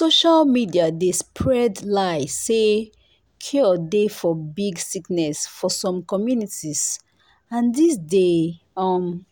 social media dey spread lie say cure dey for big sickness for some communities and this dey um